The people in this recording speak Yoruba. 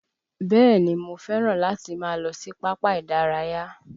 Bẹ́ẹ̀ni mo fẹ́ràn láti máa lọ sí pápá ìdárayá